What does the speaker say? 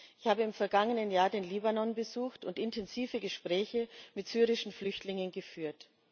Ich habe im vergangenen Jahr den Libanon besucht und intensive Gespräche mit syrischen Flüchtlingen geführt.